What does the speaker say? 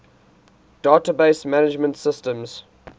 database management systems